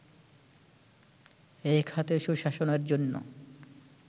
এই খাতে সুশাসনের জন্য